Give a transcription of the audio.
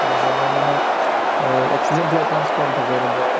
মানে এই accident হোৱাৰ chance কম থাকে আৰু বেয়া